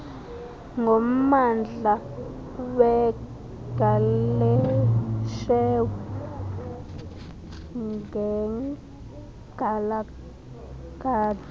ngommandla wegaleshewe nekgalagadi